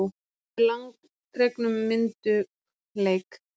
Með langdregnum myndugleik.